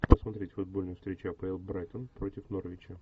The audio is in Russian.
посмотреть футбольную встречу апл брайтон против норвича